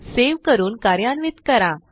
save करून कार्यान्वित करा